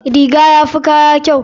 Riga yafi kaya kyau.